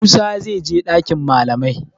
Musa zai je dakin malamai.